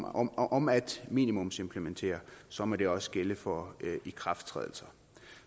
om om at minimumsimplementere så må det også gælde for ikrafttrædelser